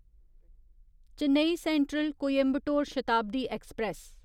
Chennai Central Coimbatore Shatabdi express